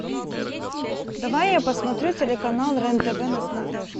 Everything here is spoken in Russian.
давай я посмотрю телеканал рен тв на смотрешки